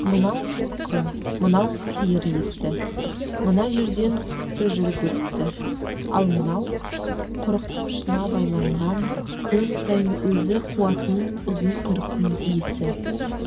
мынау жылқы мынау сиыр иісі мына жерден кісі жүріп өтіпті ал мынау құрықтың ұшына байланған күн сайын өзі қуатын ұзын құйрықтың иісі